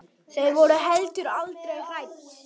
Þau voru heldur aldrei hrædd.